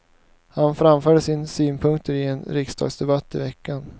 Han framförde sina synpunkter i en riksdagsdebatt i veckan.